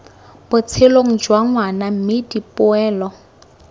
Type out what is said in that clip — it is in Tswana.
botshelong jwa ngwana mme dipoelo